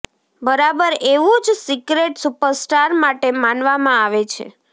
બરાબર એવું જ સિક્રેટ સુપરસ્ટાર માટે માનવામાં આવે છે